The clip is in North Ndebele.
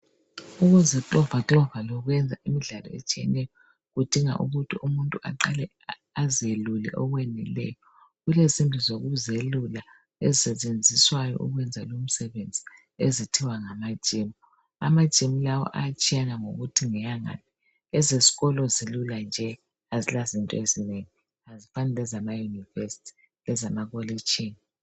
Ukuziklova klova lokwenza imidlalo etshiyeneyo kudinga ukuthi umuntu aqale azelule okweneleyo. Kulezindlu zokuzelula ezisetshenziswayo ukwenza lo umsebenzi ezithwa ngama gym. Ama gym lawa ayatshiyana ngokuthi ngeyangaphi Ezeskolo zilula nje azilazinto ezinengi azifani lezama univesithi lezama kolitshini.